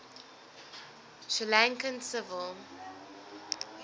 sri lankan civil